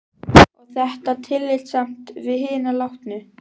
Og er þetta tillitssamt við hina látnu?